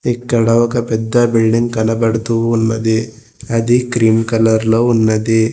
ఇక్కడ ఒక పెద్ద బిల్డింగ్ కనబడుతూ ఉన్నది అది క్రీమ్ కలర్లో ఉన్నది.